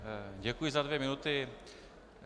Děkuji za dvě minuty.